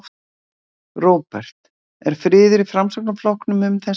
Róbert: Er friður í Framsóknarflokknum um þessi mál?